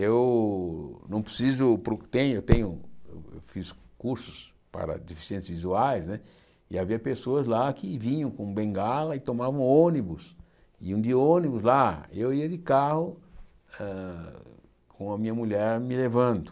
Eu não preciso pro eu tenho tenho fiz cursos para deficientes visuais né e havia pessoas lá que vinham com bengala e tomavam ônibus, iam de ônibus lá, e eu ia de carro eh com a minha mulher me levando.